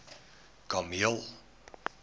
kameel